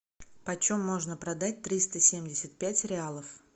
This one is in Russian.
почем можно продать триста семьдесят пять реалов